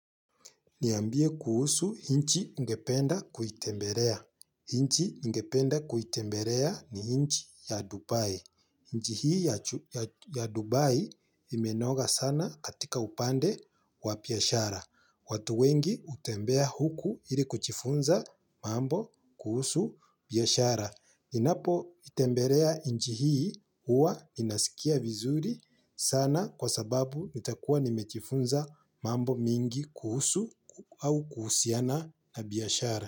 Niambie kuhusu nchi ningependa kuitembelea. Hinchi ngependa kuitemberea ni hinchi ya Dubai. Nchi hii ya Dubai imenoga sana katika upande wa biashara. Watu wengi hutembea huku ili kujifunza mambo kuhusu biashara. Ninapoitembelea nchi hii huwa ninasikia vizuri sana kwa sababu nitakuwa nimejifunza mambo mingi kuhusu au kuhusiana na biashara.